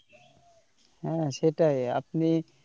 হ্যাঁ সেটাই আপনি,